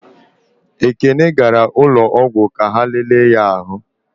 Ekene gara ụlọọgwụ ka ha lele ya ahụ.